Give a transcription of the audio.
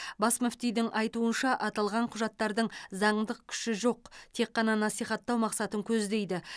бас мүфтидің айтуынша аталған құжаттардың заңдық күші жоқ тек қана насихаттау мақсатын көздейді